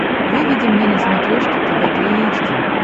выведи мне на смотрешке тв три эйч ди